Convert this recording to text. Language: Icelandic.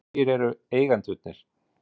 Hverjir eru eigendurnir?